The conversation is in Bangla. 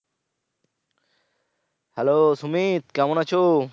Hello সুমিত কেমন আছো?